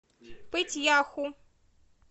пыть яху